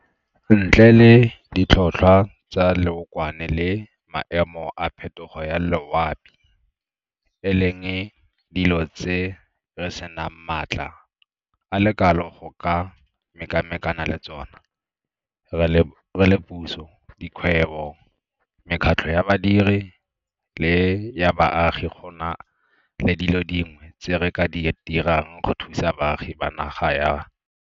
Ntle le ditlhotlhwa tsa leokwane le maemo a phetogo ya loapi, e leng dilo tse re senang maatla a le kalo go ka mekamekana le tsona, re le puso, dikgwebo, mekgatlho ya badiri le ya baagi gona le dilo dingwe tse re ka di dirang go thusa baagi ba naga ya.